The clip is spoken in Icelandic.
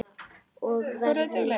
Og veðrið.